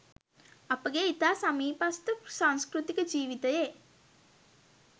අපගේ ඉතා සමීපස්ථ සංස්කෘතික ජීවිතයේ